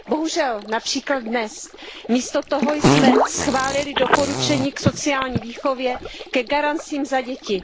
Bohužel, například dnes, místo toho jsme schválili doporučení k sociální výchově, ke garancím za děti.